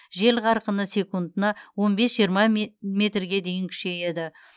жел қарқыны секундына он бес жиырма метрге дейін күшейеді